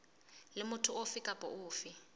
le motho ofe kapa ofe